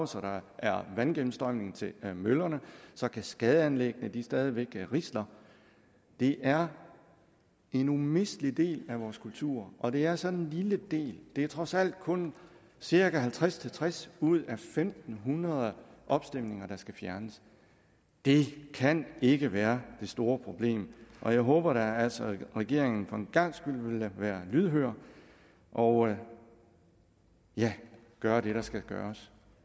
så der er vandgennemstrømning til møllerne så kaskadeanlæggene stadig væk risler det er en umistelig del af vores kultur og det er sådan en lille del det er trods alt kun cirka halvtreds til tres ud af fem hundrede opstemninger der skal fjernes det kan ikke være det store problem og jeg håber altså at regeringen for en gangs skyld vil være lydhør og ja gøre det der skal gøres